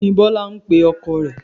Kí ni Bọ́lá ń pe ọkọ rẹ̀